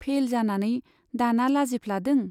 Fail जानानै दाना लाजिफ्लादों ?